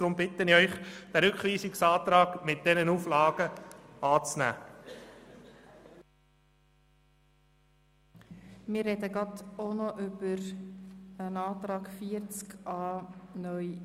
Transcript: Deshalb bitte ich Sie, den Rückweisungsantrag mit den entsprechenden Auflagen anzunehmen.